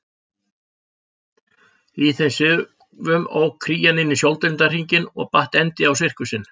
Í þeim svifum ók Krían inn í sjóndeildarhringinn og batt endi á sirkusinn.